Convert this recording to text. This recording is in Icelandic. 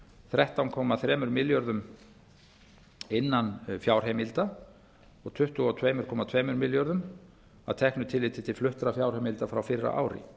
þrettán komma þremur milljörðum króna innan fjárheimilda og tuttugu og tvö komma tveimur milljörðum króna að teknu tilliti til fluttra fjárheimilda frá fyrra ári